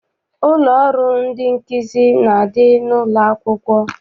Ụlọ ọrụ ndị nkụzi na-adị n'ụlọakwụkwọ.